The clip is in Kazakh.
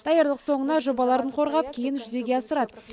даярлық соңында жобаларын қорғап кейін жүзеге асырады